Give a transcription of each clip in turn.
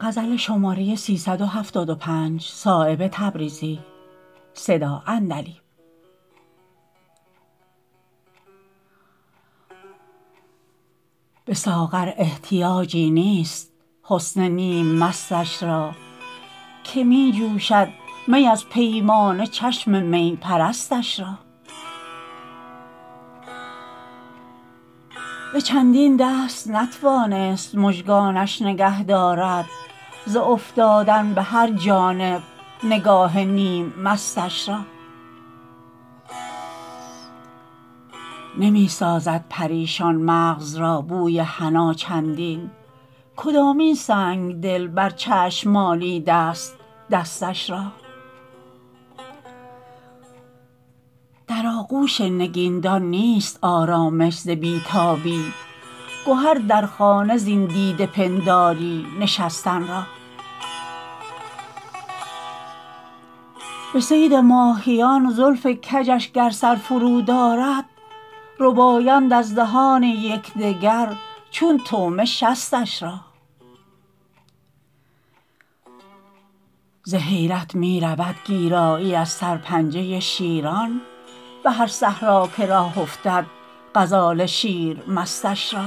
به ساغر احتیاجی نیست حسن نیم مستش را که می جوشد می از پیمانه چشم می پرستش را به چندین دست نتوانست مژگانش نگه دارد ز افتادن به هر جانب نگاه نیم مستش را نمی سازد پریشان مغز را بوی حنا چندین کدامین سنگدل بر چشم مالیده است دستش را در آغوش نگین دان نیست آرامش ز بی تابی گهر در خانه زین دیده پنداری نشستن را به صید ماهیان زلف کجش گر سر فرود آرد ربایند از دهان یکدگر چون طعمه شستش را ز حیرت می رود گیرایی از سرپنجه شیران به هر صحرا که راه افتد غزال شیر مستش را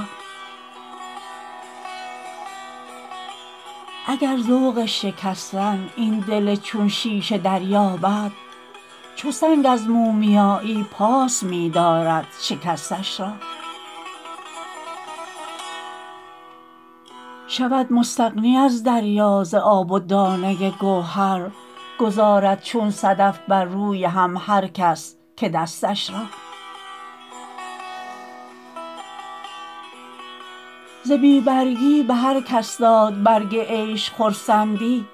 اگر ذوق شکستن این دل چون شیشه دریابد چو سنگ از مومیایی پاس می دارد شکستش را شود مستغنی از دریا ز آب و دانه گوهر گذارد چون صدف بر روی هم هر کس که دستش را ز بی برگی به هر کس داد برگ عیش خرسندی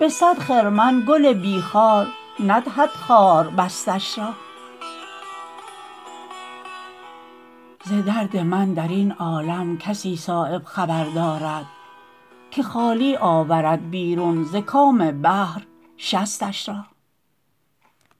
به صد خرمن گل بی خار ندهد خار بستش را ز درد من درین عالم کسی صایب خبر دارد که خالی آورد بیرون ز کام بحر شستش را